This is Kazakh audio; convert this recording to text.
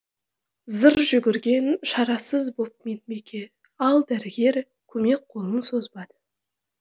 зыр жүгірген шарасыз боп медбике ал дәрігер көмек қолын созбады